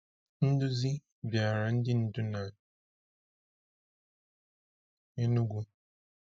Nduzi bịara ndị ndu na Enugu.